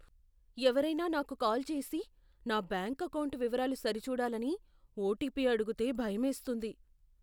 ఎవరైనా నాకు కాల్ చేసి, నా బ్యాంక్ ఎకౌంటు వివరాలు సరిచూడాలని ఓటిపీ అడిగితే భయమేస్తుంది.